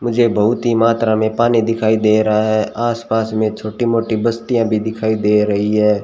मुझे बहुत ही मात्रा में पानी दिखाई दे रहा है आस पास में छोटी मोटी बस्तियां भी दिखाई दे रही है।